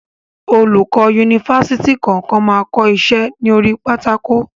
Olùkọ yunifásítì kankan ma ko iṣẹ́ ni orí pátákó.